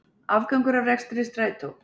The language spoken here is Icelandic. Afgangur af rekstri Strætó